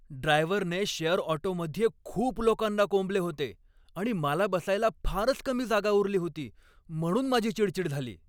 ड्रायव्हरने शेअर ऑटोमध्ये खूप लोकांना कोंबले होते आणि मला बसायला फारच कमी जागा उरली होती, म्हणून माझी चिडचीड झाली.